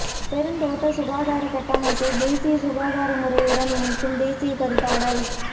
பெருந்தோட்ட சுகாதார கட்டமைப்பை தேசிய சுகாதார முறையுடன் இணைக்கும் தேசிய கருத்தாடல்